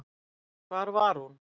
Hvar var hún?